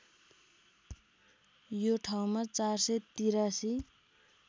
यो ठाउँमा ४८३